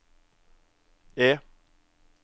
E